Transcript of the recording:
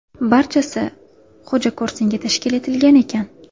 Barchasi xo‘jako‘rsinga tashkil etilgan ekan.